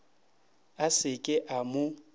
a se ke a mo